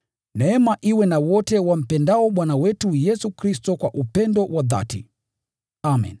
Neema iwe na wote wampendao Bwana wetu Yesu Kristo kwa upendo wa dhati. Amen.